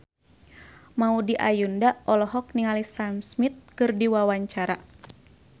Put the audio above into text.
Maudy Ayunda olohok ningali Sam Smith keur diwawancara